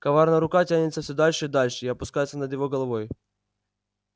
коварная рука тянется всё дальше и дальше и опускается над его головой